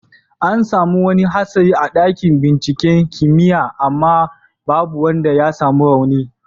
An samu wani hatsari a dakin binciken kimiyya amma babu wanda ya samu rauni.